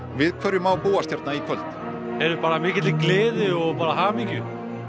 við hverju má búast mikilli gleði og hamingju